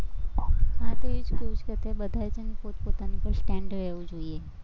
હા તે એ જ કેવું છે, બધાએ છે ને પોતપોતાની ઉપર હોવો જોઈએ.